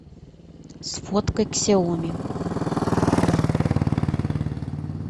сфоткай ксиоми